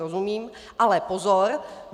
Rozumím - ale pozor!